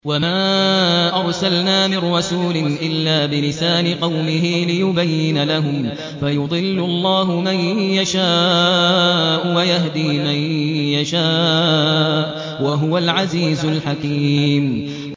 وَمَا أَرْسَلْنَا مِن رَّسُولٍ إِلَّا بِلِسَانِ قَوْمِهِ لِيُبَيِّنَ لَهُمْ ۖ فَيُضِلُّ اللَّهُ مَن يَشَاءُ وَيَهْدِي مَن يَشَاءُ ۚ وَهُوَ الْعَزِيزُ الْحَكِيمُ